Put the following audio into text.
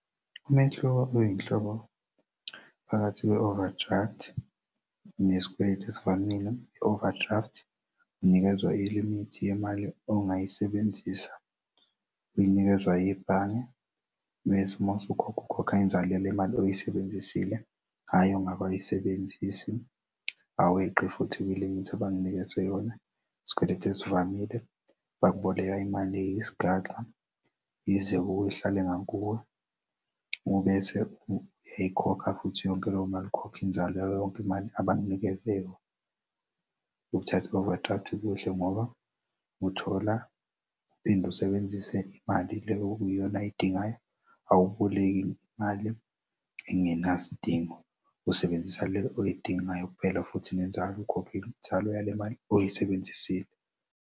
Umehluko oyinhloko phakathi kwe-overdraft nesikweletu esifanele, overdraft unikezwa ilimithi yemali ongayisebenzisa uy'nikezwa yibhange bethi masukhokha ukukhokha inzalo yalemali oyisebenzisile hhayi ongakay'sebenzisi aweqi futhi kwimithi abakunikeze yona isikweletu esivamile bakuboleka imali yesigaxa yize ngakuwe ihlale ngakuwe ubese uyayikhokha futhi yonke leyo mali ukhokha inzalo yayo yonke imali abakunikeze yona ukuthatha ukudla ngoba uthola uphinde usebenzise imali le okuyiyona ayidingayo awuboleki mali engenasidingo usebenzisa le oyidingayo kuphel. Futhi nenzalo ukhokhe inzalo yale mali oyisebenzisile.